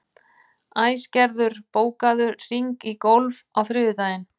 Æsgerður, bókaðu hring í golf á þriðjudaginn.